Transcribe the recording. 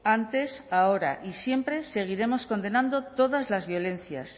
antes ahora y siempre seguiremos condenando todas las violencias